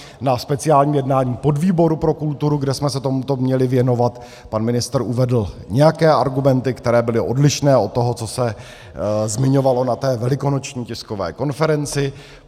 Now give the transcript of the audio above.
Na speciálním jednání podvýboru pro kulturu, kde jsme se tomuto měli věnovat, pan ministr uvedl nějaké argumenty, které byly odlišné od toho, co se zmiňovalo na té velikonoční tiskové konferenci.